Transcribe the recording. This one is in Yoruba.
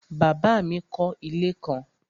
Bàbá mi kọ́ ilé kan